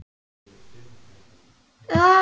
Við blasa hergögn og vélar.